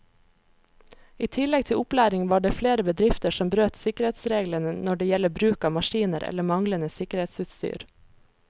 I tillegg til opplæring var det flere bedrifter som brøt sikkerhetsreglene når det gjelder bruk av maskiner eller manglende sikkerhetsutstyr.